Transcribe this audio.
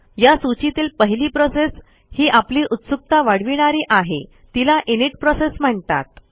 या सूचीतील पहिली प्रोसेस ही आपली उत्सुकता वाढविणारी आहे तिला इनिट प्रोसेस म्हणतात